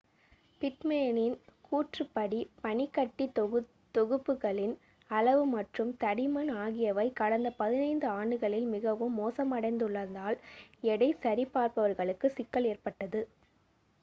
பிட்மேனின் கூற்றுப்படி பனிக்கட்டி தொகுப்புகளின் அளவு மற்றும் தடிமன் ஆகியவை கடந்த 15 ஆண்டுகளில் மிகவும் மோசமடைந்துள்ளதால் எடை சரி பார்ப்பாளர்களுக்கு சிக்கல் ஏற்பட்டுள்ளது